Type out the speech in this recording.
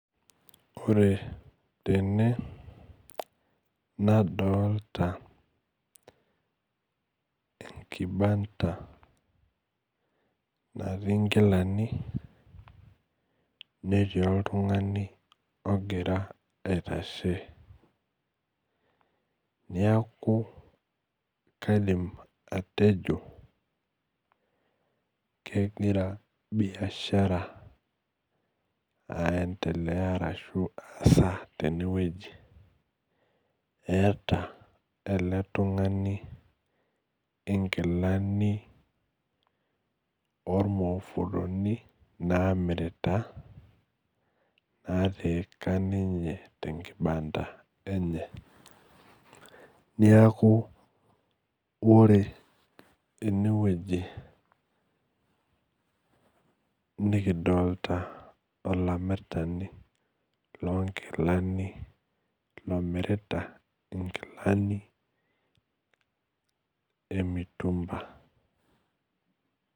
Ore tene nadolta enkibanda natii nkilani netii oltungani ogira aitashe neaku kaidim atejo kegira biashara aendelea ashubaasa tenewueji eeta eletungani nkilani ormufuloni namirita ninye naatika tenkibanda enye neaku ore enewueji nikidolta olamirani lonkilani omirita nkilani emutumba.